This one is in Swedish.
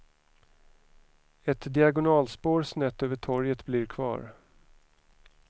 Ett diagonalspår snett över torget blir kvar.